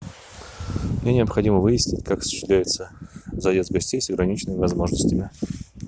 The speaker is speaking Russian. мне необходимо выяснить как осуществляется заезд гостей с ограниченными возможностями